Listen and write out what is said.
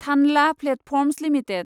थानला platforms limited